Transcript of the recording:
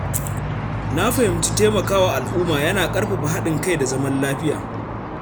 Na fahimci cewa taimakawa al’umma yana ƙarfafa haɗin kai da zaman lafiya.